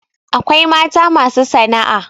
akwai mata masu sana'a